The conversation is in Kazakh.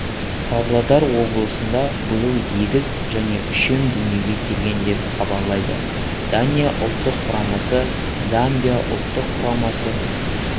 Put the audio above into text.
павлодар облысында биыл егіз және үшем дүниеге келген деп хабарлайды дания ұлттық құрамасы замбия ұлттық құрамасы